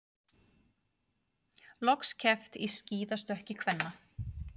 Loks keppt í skíðastökki kvenna